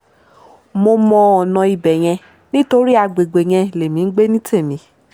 mo mọ ọ̀nà ibẹ̀ yẹn nítorí àgbègbè yẹn lèmi ń gbé ní tèmi